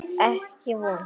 Ekki von.